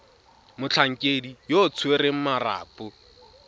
motlhankedi yo o tshwereng marapo